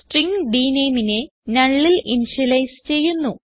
string dNameനെ nullൽ initialise ചെയ്യുന്നു